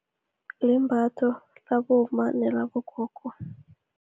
Limbatho labomma nelabogogo